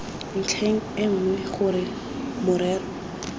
ntlheng e nngwe gore morero